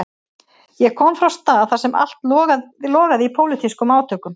Ég kom frá stað þar sem allt logaði í pólitískum átökum.